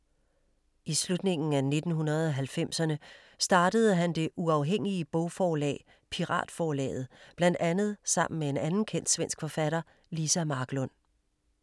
I slutningen af 1990erne startede han det uafhængige bogforlag Piratforlaget blandt andet sammen med en anden kendt svensk forfatter Liza Marklund.